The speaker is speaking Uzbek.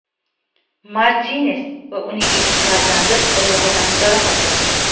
Martines va uning ikki farzandi oyog‘idan jarohatlandi.